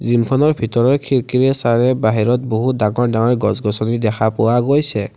জিমখনৰ ভিতৰৰ খিৰিকীৰে চালে বাহিৰত বহুতো ডাঙৰ ডাঙৰ গছ-গছনি দেখা পোৱা গৈছে।